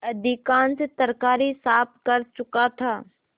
अधिकांश तरकारी साफ कर चुका था